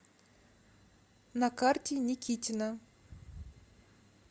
на карте никитина